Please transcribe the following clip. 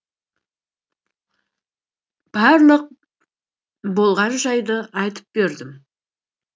барлық болған жайды айтып бердім